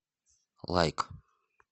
лайк